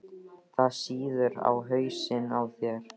Það sýður á hausnum á þér!